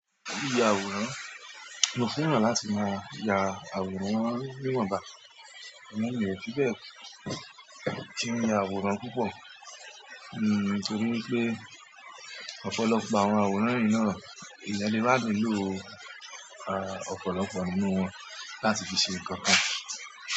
Mo fẹ́ràn láti máa ya àwòrán níwọ̀nba, àmọ mí ò fi bẹ́ẹ̀ ki ya àwòrán púpọ̀. Nítorí wipé ọ̀pọ̀lọpọ̀ àwọn àwòrán yìí náà eeyan le ma nílò o ọ̀pọ̀lọpọ̀ nínú wọn láti fi ṣe nǹkan kan.